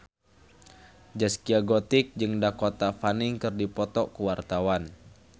Zaskia Gotik jeung Dakota Fanning keur dipoto ku wartawan